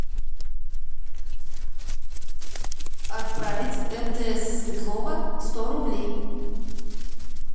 отправить мтс светлова сто рублей